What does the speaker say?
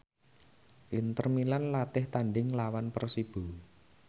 Inter Milan latih tandhing nglawan Persibo